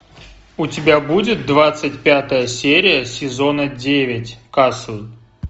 у тебя будет двадцать пятая серия сезона девять касл